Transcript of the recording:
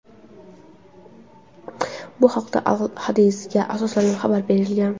Bu haqda "Al Hadath"ga asoslanib xabar berilgan.